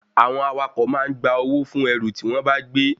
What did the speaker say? Àwọn awakọ̀ ma ń gba owó fún ẹrù tí wọ́n bá gbé